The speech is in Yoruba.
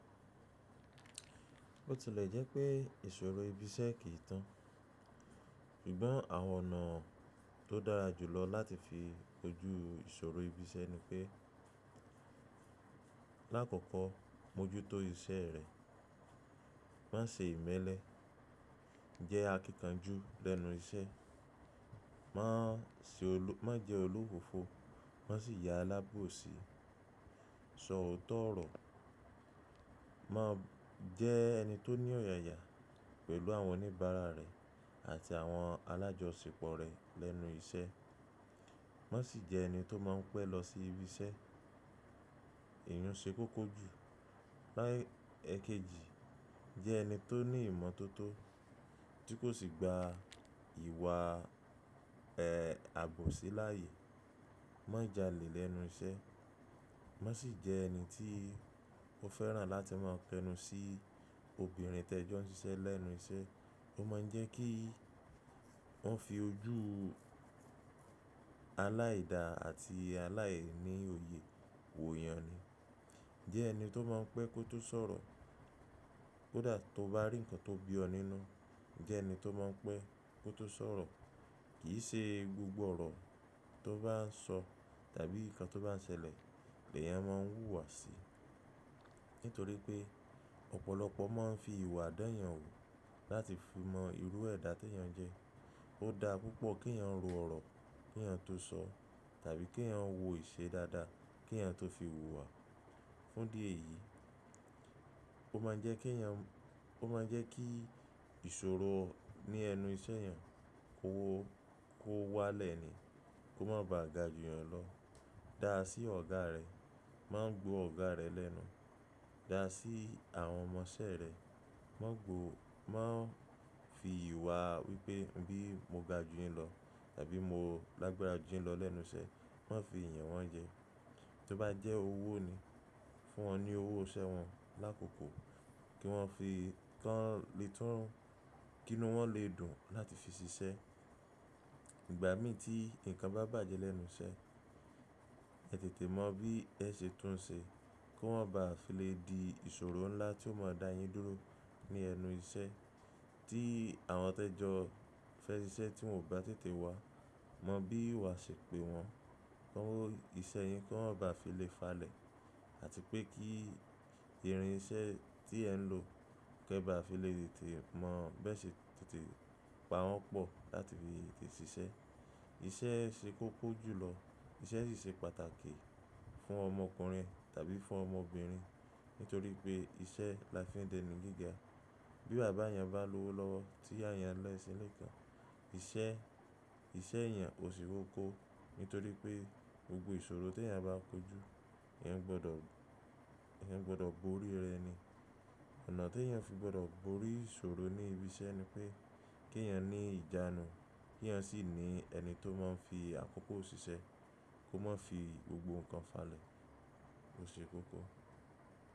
Ó ti lè jẹ́ pé ìṣòro ibi iṣẹ́ kì í tán, ṣùgbọ́n àwọn ọ̀nà tó dára jùlọ láti fi ojú ìṣòro ibi iṣẹ́ ni pé lákòókò mojú tó iṣẹ́ rẹ, má ṣe ìmẹ́lẹ́, jẹ́ akíkanjú lẹ́nu iṣẹ́, má jẹ́ olúfófó, má sì ya alábòsí, sọ òótọ́ ọ̀rọ̀, má jẹ́ ẹni tó ní ọ̀yàyà pẹ̀lú àwọn oníbàárà rẹ àti àwọn alájọṣepọ̀ rẹ lẹ́nu iṣẹ́, má sì jẹ́ ẹni tó máa ń pẹ́ lọ sí ibi iṣẹ́, ìyun ṣe kókó jù, ẹ̀keji jẹ́ ẹni tó ní ìmọ́tótó tí kò sì gba ìwà ẹ̀ àbòsí láàyè, má jálè lẹ́nu iṣẹ́, má sì jẹ́ ẹni tí ó fẹ́ràn láti máa kẹ́nu sí obìnrin tẹ́jọ́ ń ṣiṣẹ́ lẹ́nu iṣẹ́, ó má ń jẹ́ kí wọ́n fi ojú aláìda àti aláìníòye wò èèyàn ni. Jẹ́ ẹni tó máa ń pẹ́ kó tó sọ̀rọ̀, kó dà tó bá rí ǹkan tó bí ọ nínú, jẹ́ ẹni tó máa ń pẹ́ kó tó sọ̀rọ̀, kì í ṣe gbogbo ọ̀rọ̀ tó bá ń sọ tàbí ǹkan tó bá ń ṣẹlẹ̀ lè yẹn máa ń wùwà si, nítorí pé ọ̀pọ̀lọpọ̀ má ń fi ìwà dá eeyan wò láti fi mọ irú ẹ̀dá tí èèyàn jẹ́. Ó dá púpọ̀ kí èèyàn ro ọ̀rọ̀ kí èèyàn tó sọ tàbí kí èèyàn wo ìṣe dáadáa kí èèyàn tó fi wùwà. Fún idi eyi, ó má ń jẹ́ kí ìṣòro ní ẹnu iṣẹ́ èèyàn kó wá lẹ̀ ni, kó má ba à ga jù èèyàn lọ. Dáa sí ọ̀gá rẹ, má gbo ọ̀gá rẹ lẹ́nu. Dáa sí àwọn ọmọ iṣẹ́ rẹ, má fi ìwà wípé bí mo ga jù yin lọ tàbí mo lágbára jù yin lọ lẹ́nu iṣẹ́, má fi yan wọ́n jẹ. Tó bá jẹ́ owó ni, fún wọn ní owó iṣẹ́ wọn lákòókò kí wọ́n fi kọ́ lé tún, kí inú wọn lè dùn láti fi ṣiṣẹ́. Ìgbà mí tí ǹkan bá bàjẹ́ lẹ́nu iṣẹ́, ẹ tètè mọ bí ẹ ṣe tún un ṣe kí o ma bá fi lè di ìṣòro ńlá tí ó máa dá yin dúró ní ẹnu iṣẹ́ tí àwọn tẹ́jọ́ fẹ́ ṣiṣẹ́ tí wọn ò bá tètè wá, mọ bí wà ṣe pé wọn, kọ́ owó iṣẹ́ yín kí wọ́n bá fi lè falẹ̀ àti pé kí irin iṣẹ́ tí ẹ ń lò kẹ́ bá fi lè tètè mọ̀ bẹ́ẹ̀ sì tètè pa wọ́n pọ̀ láti fi tètè ṣiṣẹ́. Ìṣẹ́ ṣe kókó jùlọ, ìṣẹ́ sì ṣe pàtàkì fún ọmọkùnrin tàbí fún ọmọbìnrin nítorí pé ìṣẹ́ la fi ń dẹni gíga. Bí bàbá èèyàn bá lówó lọ́wọ́ tí ìyá èèyàn ń lé ẹṣin lẹ́ẹ̀kan, ìṣẹ́ èèyàn ò sì kóko nítorí pé gbogbo ìṣòro tí èèyàn bá kojú, èèyàn gbọdọ̀ borí rẹ̀ ni. Ọ̀nà tí èèyàn fi gbọdọ̀ borí ìṣòro ní ibi iṣẹ́ ni pé kí èèyàn ní ìjánu kí èèyàn sì ní ẹni tó má ń fi àkókò ṣiṣẹ́ kó má fi gbogbo ǹkan falẹ̀, ó ṣe kókó.